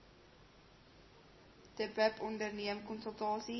dbip onderneem konsultasie